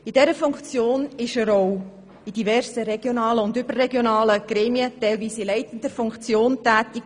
In dieser Funktion war er auch in diversen regionalen und überregionalen Gremien, teilweise in leitender Position, tätig;